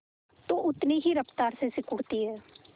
तो उतनी ही रफ्तार से सिकुड़ती है